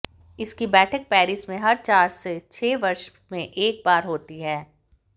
इसकी बैठक पैरिस में हर चार से छः वर्ष में एक बार होती है